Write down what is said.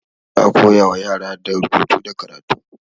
Za a koya wa yara da rubutu da karatu.